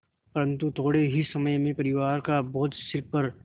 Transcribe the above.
परन्तु थोडे़ ही समय में परिवार का बोझ सिर पर